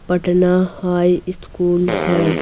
Patna high इतस्कूल है।